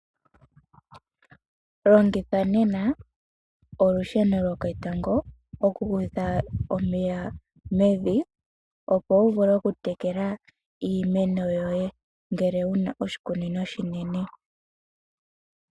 Longitha nena olusheno lwoketango okukutha omeya mevi, opo wu vule okutekela iimeno yoye ngele wu na oshikunino oshinene.